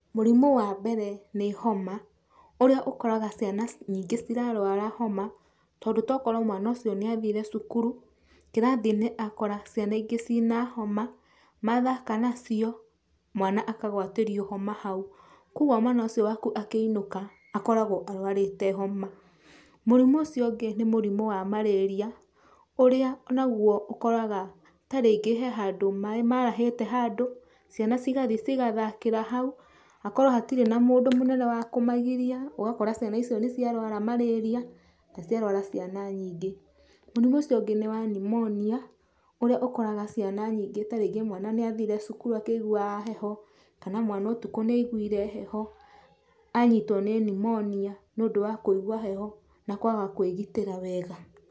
Mũrimũ wa mbere nĩ homa, ũrĩa ũkoraga ciana nyingĩ cirarũara homa, tondũ tokorwo mwana ũcio nĩ athire cukuru, kĩrathi-inĩ akora ciana ingĩ ciĩ na homa, mathaka nacio, mwana akagwatĩrio homa hau. Kogwo mwana ũcio waku akĩinũka akoragwo arũarĩte homa. Mũrimũ ũcio ũngĩ nĩ mũrimũ wa Malaria , ũrĩa ũnagwo ũkoraga ta rĩngĩ he handũ maĩ marahĩte handũ, ciana cigathiĩ cigathakĩra hau, akorwo hatirĩ na mũndũ mũnene wa kũmagiria, ugakora ciana icio nĩ cia rũara Malaria , na ciarũara ciana nyingĩ. Mũrimũ ũcio ũngĩ nĩ wa Pneumonia , ũrĩa ũkoraga ciana nyingĩ ta rĩngĩ mwana nĩ athire cukuru akĩiguaga heho, kana mwana ũtukũ nĩ aiguire hehe, anyitwo nĩ Pneumonia nĩ ũndũ wa kũigwa heho na kwaga kwĩgĩtĩra wega.